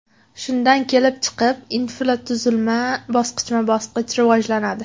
Shundan kelib chiqib, infratuzilma bosqichma-bosqich rivojlanadi.